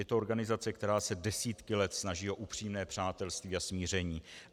Je to organizace, která se desítky let snaží o upřímné přátelství a smíření.